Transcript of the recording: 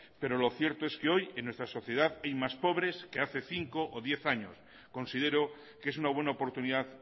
pero lo cierto es que hoy en nuestra sociedad hay más pobres que hace cinco o diez años considero que es una buena oportunidad